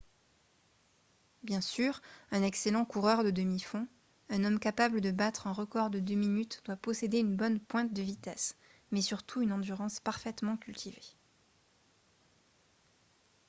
bien sûr un excellent coureur de demi-fond un homme capable de battre un record de deux minutes doit posséder une bonne pointe de vitesse mais surtout une endurance parfaitement cultivée